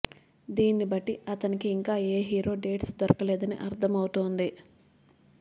దీనిని బట్టి అతనికి ఇంకా ఏ హీరో డేట్స్ దొరకలేదని అర్థమవుతోంది